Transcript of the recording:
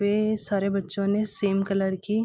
वे सारे बच्चों ने सेम कलर की --